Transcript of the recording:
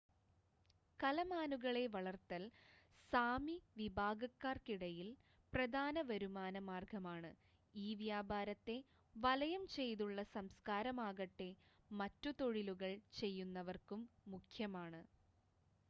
കലമാനുകളെ വളർത്തൽ സാമി വിഭാഗക്കാർക്കിടയിൽ പ്രധാന വരുമാന മാർഗ്ഗമാണ് ഈ വ്യാപാരത്തെ വലയം ചെയ്തുള്ള സംസ്ക്കാരമാകട്ടെ മറ്റു തൊഴിലുകൾ ചെയ്യുന്നവർക്കും മുഖ്യമാണ്